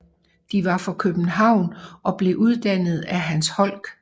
De var for København og blev udarbejdet af Hans Holck